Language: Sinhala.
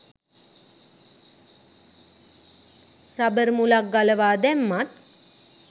රබර් මුලක් ගලවා දැම්මත්